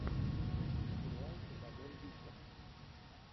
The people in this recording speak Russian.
сериал с изабель юппер